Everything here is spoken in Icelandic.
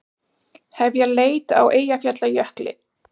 Hefja leit á Eyjafjallajökli